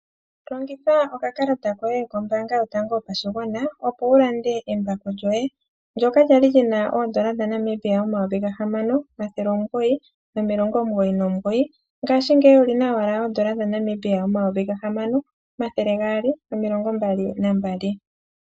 Longitha okakalata koye kombaanga yotango yo pashigwana opo wulande embako lyoye ndyoka lyali li na oondola dha N$6,999.00 ngashingeyi oli na wala oondola dha N$6,222.00.